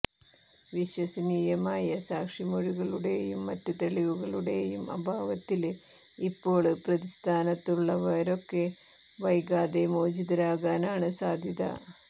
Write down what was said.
വിശ്വസനീയമായ സാക്ഷിമൊഴികളുടെയും മറ്റ് തെളിവുകളുടെയും അഭാവത്തില് ഇപ്പോള് പ്രതിസ്ഥാനത്തുള്ളവരൊക്കെ വൈകാതെ മോചിതരാകാനാണ് സാധ്യത